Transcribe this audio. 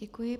Děkuji.